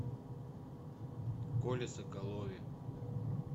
коле соколове